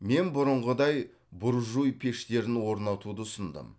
мен бұрынғыдай буржуй пештерін орнатуды ұсындым